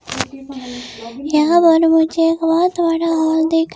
यहां पर मुझे एक बहुत बड़ा हॉल दिख--